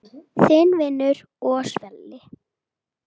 Þinn vinur og svili.